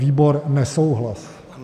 Výbor: nesouhlas.